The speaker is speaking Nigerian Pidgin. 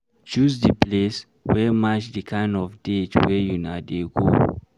Choose di place wey match di kind of date wey una dey go